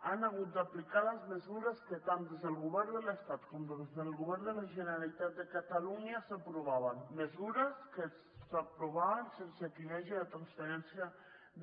han hagut d’aplicar les mesures que tant des del govern de l’estat com des del govern de la generalitat de catalunya s’aprovaven mesures que s’aprovaven sense que hi hagi la transferència